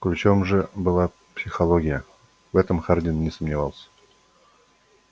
ключом же была психология в этом хардин не сомневался